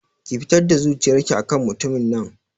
Ki fitar da zuciyar ki akan mutumin nan